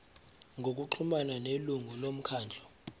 ngokuxhumana nelungu lomkhandlu